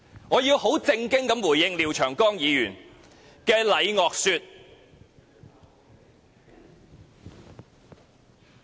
我要很正經回應廖長江議員的"禮樂說"。